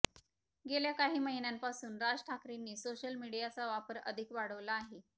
गेल्या काही महिन्यांपासून राज ठाकरेंनी सोशल मीडियाचा वापर अधिक वाढवला आहे